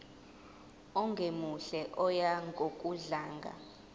ongemuhle oya ngokudlanga